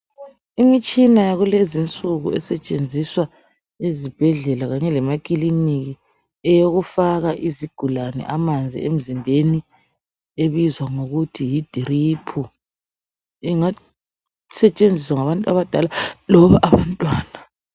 Imitshina yakulezinsuku esetshenziswa ezibhedlela kanye lemakilinika eyokufaka izigulane amanzi emzimbeni ebizwa ngokuthi yidiriphu, ingasetshenziswa ngabantu abadala loba abantwana.